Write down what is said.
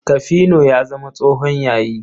Kafino ya zama tsohon yayi.